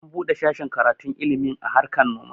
An buɗe sashin karatun ilmin harkan noma